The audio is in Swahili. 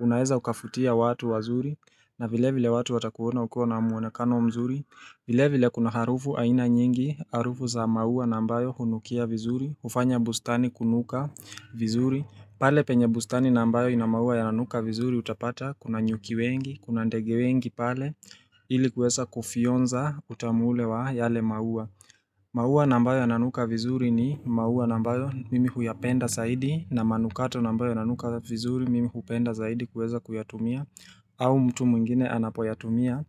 Unaeza ukafutia watu wazuri, na vile vile watu watakuona ukiwa na muonekano mzuri. Vile vile kuna harufu aina nyingi, harufu za maua na ambayo hunukia vizuri, hufanya bustani kunuka vizuri. Pale penye bustani na ambayo ina maua yananuka vizuri utapata, kuna nyuki wengi, kuna ndege wengi pale ili kwesa kufionza utamu ule wa yale maua maua na ambayo yananuka vizuri ni maua na ambayo mimi huyapenda saidi. Na manukato na ambayo yananuka vizuri mimi hupenda zaidi kuweza kuyatumia aa au mtu mwingine anapoyatumia